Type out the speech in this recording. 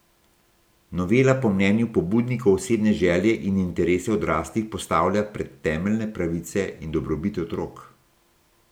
Novela po mnenju pobudnikov osebne želje in interese odraslih postavlja pred temeljne pravice in dobrobit otrok.